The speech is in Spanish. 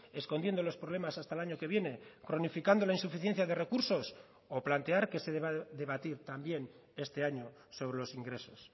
escondiendo los problemas hasta el año que viene cronificando la insuficiencia de recursos o plantear que se deba debatir también este año sobre los ingresos